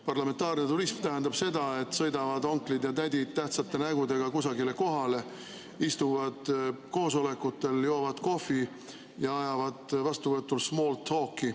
Parlamentaarne turism tähendab seda, et sõidavad onklid ja tädid tähtsate nägudega kusagile kohale, istuvad koosolekutel, joovad kohvi ja ajavad vastuvõtul small talk'i.